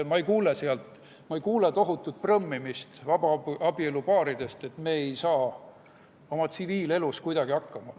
Ma ei kuule tohutut prõmmimist vabaabielupaaridelt, et me ei saa tsiviilelus kuidagi hakkama.